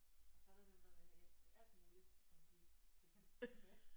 Og så er der dem der vil have hjælp til alt muligt som vi ikke kan hjælpe med